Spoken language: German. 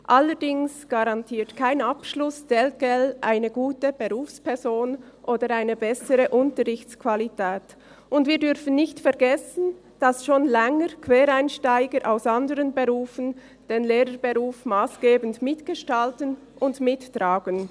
Allerdings garantiert kein Abschluss telquel eine gute Berufsperson oder eine bessere Unterrichtsqualität, und wir dürfen nicht vergessen, dass schon seit Längerem Quereinsteiger aus anderen Berufen den Lehrerberuf massgebend mitgestalten und mittragen.